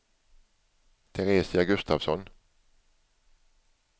Teresia Gustafsson